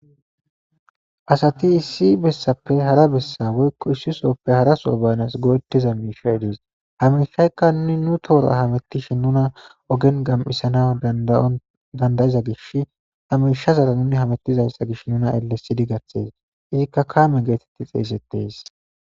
Asati issi bessappe hara bessa woykko issisoppe haraso baynas go'ettiza miishaydies hamishaykka nuni nu toora hamettishin nuna ogen gam'isana dadandayiza gish hamishazara nuni hamettizayssa gish nuna elles sidi garhes izikka kaame geetetti xeesettees.